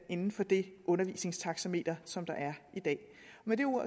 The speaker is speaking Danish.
inden for det undervisningstaxameter som der er i dag med de